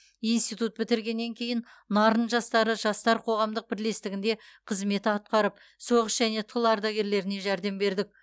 институт бітіргеннен кейін нарын жастары жастар қоғамдық бірлестігінде қызмет атқарып соғыс және тыл ардагерлеріне жәрдем бердік